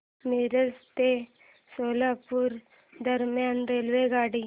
मिरज ते सोलापूर दरम्यान रेल्वेगाडी